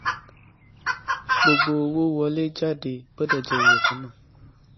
gbogbo owó wọléjáde gbọdọ jẹ iye ìkànnáà